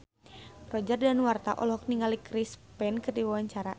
Roger Danuarta olohok ningali Chris Pane keur diwawancara